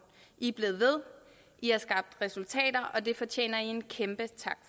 i er blevet ved i har skabt resultater og det fortjener i en kæmpe tak